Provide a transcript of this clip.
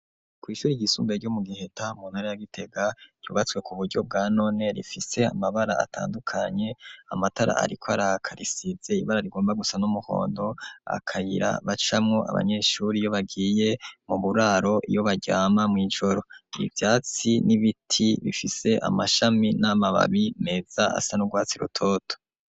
ku ishuri ryisumbiye ryo mu Giheta muntara ya Gitega ryubatswe ku buryo bwa none rifise amabara atandukanye, amatara ariko araka risize ibara rigomba gusa n'umuhondo, akayira bacamo abanyeshuri yo bagiye mu buraro iyo baryama mw’ijoro, ivyatsi n'ibiti bifise amashami n'amababi meza asa n'urwatsi rutoto.